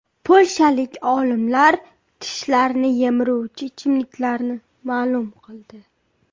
Polshalik olimlar tishlarni yemiruvchi ichimliklarni ma’lum qildi.